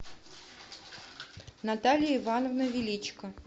наталья ивановна величко